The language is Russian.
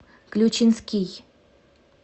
ключинский